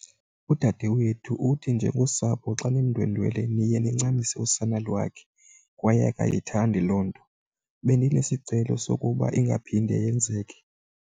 Udadewethu uthi njengosapho xa nimndwendwela niye nincamise usana lwakhe kwaye akayithandi loo nto. Bendinesicelo sokuba ingaphinde yenzeke.